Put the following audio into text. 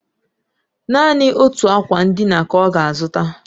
Naanị otu akwa ndina ka ọ ga-azụta